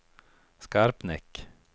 Skarpnäck